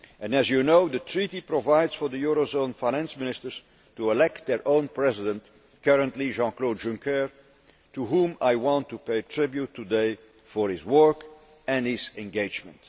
As you know, the Treaty provides for the eurozone Finance Ministers to elect their own president, currently Jean Claude Junker, to whom I want to pay tribute today for his work and his engagement.